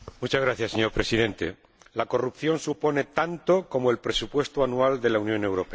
Señor Presidente, la corrupción supone tanto como el presupuesto anual de la Unión Europea.